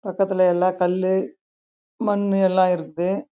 பக்கத்துலே எலாம் கல்லும் மண்ணும் இருக்கு